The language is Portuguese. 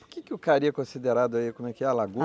Por que que o cari é considerado aí, como é que é, a la